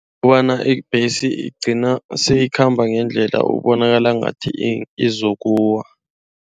Kobana ibhesi igcina siyikhamba ngendlela ekubonakala ngathi lizokuwa.